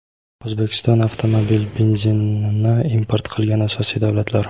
O‘zbekiston avtomobil benzinini import qilgan asosiy davlatlar:.